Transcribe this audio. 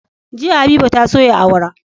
Jiya habiba ta soya awara